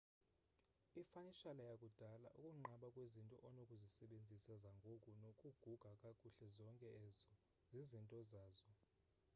ifanishala yakudala ukunqaba kwezinto onokuzisebenzisa zangoku nokuguga kakuhle zonke ezo zizinto zazo